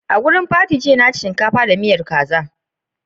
A'jamiyyar jiya na ci shinkafa da miyan stew da kaza.